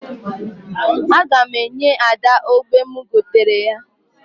Aga m enye Ada ogbo m goteere ya.